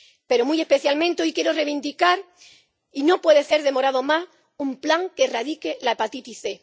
Pero, muy especialmente, hoy quiero reivindicar —y no se puede demorar más— un plan que erradique la hepatitis C.